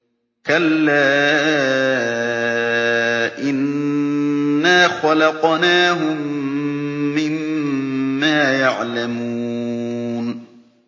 كَلَّا ۖ إِنَّا خَلَقْنَاهُم مِّمَّا يَعْلَمُونَ